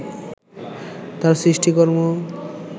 তার সৃষ্টিকর্ম